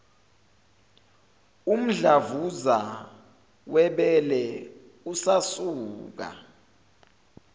umdlavuza webele usasuka